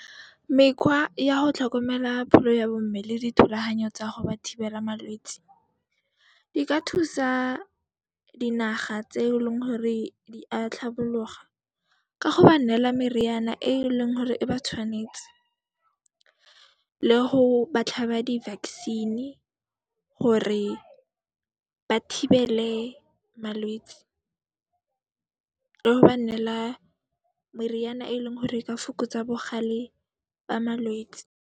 Mekhwa ya ho tlhokomela pholo ya bo mme le dithulahanyo tsa go ba thibela malwetsi, di ka thusa dinaga tse e leng gore di a tlhabologa ka go ba neela meriana e e leng hore e ba tshwanetse le go ba tlhaba di-vaccine gore ba thibele malwetsi le go ba neela meriana e leng hore e ka fokotsa bogale ba malwetsi.